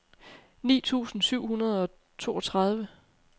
ni tusind syv hundrede og toogtredive